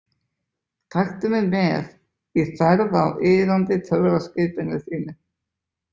Taktu mig með í ferð á iðandi töfraskipinu þínu.